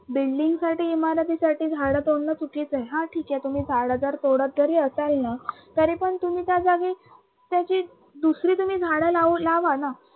building साठी, इमारती साठी झाडं तोडन चुकीच आहे. ह ठीक आहे तुम्ही झाडं जरी तोडत जरी असाल न तरी पण तुम्ही त्या जागी तशीच दुसरी तुम्ही झाडं लावा न